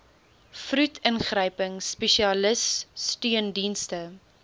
vroed ingryping spesialissteundienste